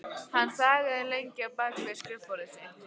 Hann þagði lengi á bak við skrifborðið sitt.